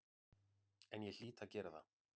En ég hlýt að gera það.